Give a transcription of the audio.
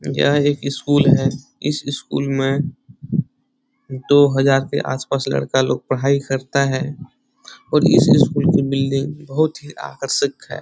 यह एक स्कूल है। इस स्कूल में दो हजार के आस-पास लड़का लोग पढ़ाई करता है और इस स्कूल की बिल्डिंग बहुत ही आकर्षक है।